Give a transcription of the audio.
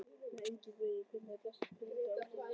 nei engan veginn Hvernig er best að pirra andstæðinginn?